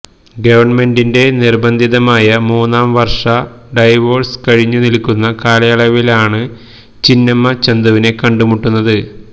ഗവണ്മെന്റിന്റെ നിർബ്ബന്ധിതമായ മൂന്നാം വർഷ ഡൈവോഴ്സ് കഴിഞ്ഞു നിൽക്കുന്ന കാലയളവിലാണ് ചിന്നമ്മ ചന്തുവിനെ കണ്ടു മുട്ടുന്നത്